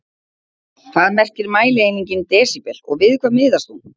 Hvað merkir mælieiningin desíbel og við hvað miðast hún?